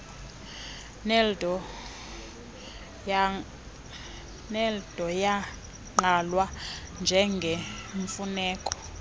neeldo yagqalwa njengemfuneko